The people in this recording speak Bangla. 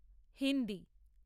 হিন্দি